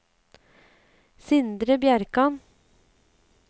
Sindre Bjerkan